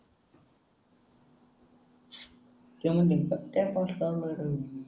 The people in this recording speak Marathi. त्यमंदी